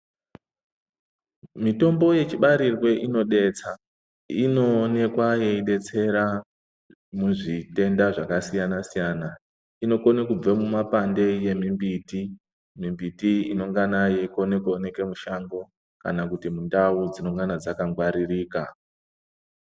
Mitombo yechibarirwe inodetsa inoonekwa yeidetsera muzvitenda zvakasiyana siyana inokona kubva mumapande emimbiti, mimbiti inongana yeikone kuoneke mushango kana kuti mundau dzinongana dzakangwaririka.